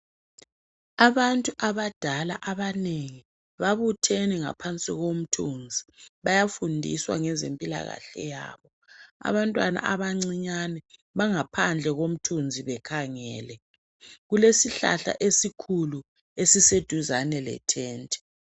Abantu abadala abanengi babuthene ngaphansi komthunzi bayafundiswa ngezempilakahle yabo. Abantwana abancinyane bangaphandle komthunzi bekhangele. Kulesihlahla esikhulu esiseduzane lethenti.